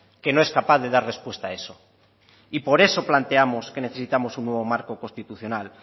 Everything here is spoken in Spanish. que no es capaz de dar respuesta a eso y por eso planteamos que necesitamos un nuevo marco constitucional